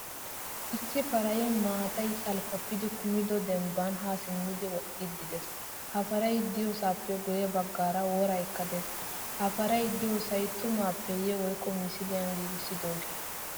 Issi paray maataay salppapidi kumido dembban ha simmidi woxxidi de'ees. Ha paray de'iyosappe guye baggara woraykka de'ees. Ha paray deiyosay tumappeye woykko misiliyan giigisidoge?